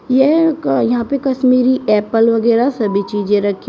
यह का यहां पे कश्मीरी एप्पल वगैरा सभी चीजे रखी--